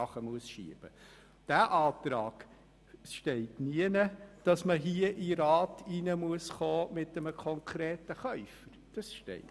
In diesem Antrag steht nirgends, man müsse mit einem konkreten Käufer hier in den Rat kommen.